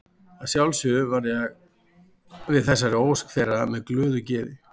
Að sjálfsögðu varð ég við þessari ósk þeirra með glöðu geði.